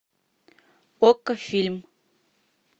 окко фильм